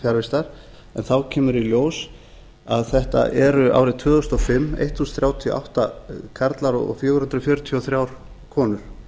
fjarvistar en þá kemur í ljós að þetta eru árið tvö þúsund og fimm þúsund þrjátíu og átta karlar og fjögur hundruð fjörutíu og þrjár konur